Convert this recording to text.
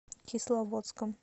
кисловодском